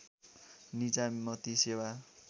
निजामती सेवा